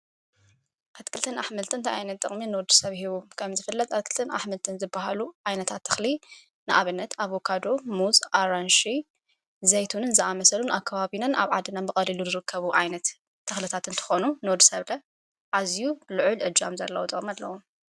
ኣትክልትን ኣሕመልትን ታይኣይነት ጥቕሚ ንወዲ ሰብ ሂቡ ከም ዝፍለጥ ኣትክልትን ኣሕምልትን ዝበሃሉ ኣይነታት ተኽሊ ንኣብነት ኣብካዶ ሙዝ ኣራንሽ ዘይቱንን ዝኣመሰሉን ኣካዋቢናን ኣብ ዓድናን መቐዲሉ ሩከቡ ዓይነት ተኽልታትን ተኾኑ ኖድ ሰብለ ዓዚዩ ልዑል ዕጃም ዘለዎ ጥቅሚኣለዉ።